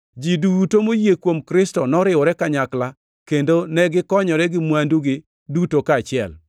Ji duto moyie kuom Kristo noriwore kanyakla kendo negikonyore gi mwandugi duto kaachiel.